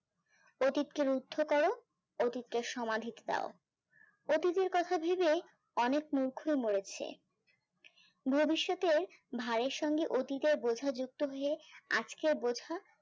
অতীতের কর অতীতকে সমাধিক দাও অতীতের কথা ভেবে অনেক মূর্খ মরেছে ভবিষ্যতের ভাইয়ের সঙ্গে অতীতের বোঝা যুক্ত হয়ে আজকে বোঝা।